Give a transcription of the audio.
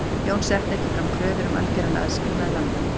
Jón setti ekki fram kröfur um algjöran aðskilnað landanna.